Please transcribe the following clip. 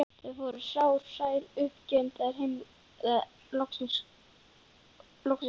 Þau voru sár, sæl og uppgefin þegar þeim loksins lauk.